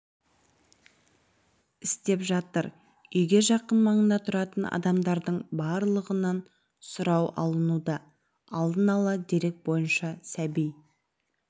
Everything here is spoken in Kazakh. істеп жатыр үйге жақын маңда тұратын адамдардың барлығынан сұрау алынуда алдын ала дерек бойынша сәби